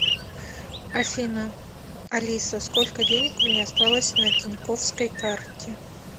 афина алиса сколько денег у меня осталось на тинькоффской карте